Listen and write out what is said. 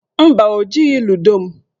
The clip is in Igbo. Mba, o jighị ludo m.